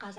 از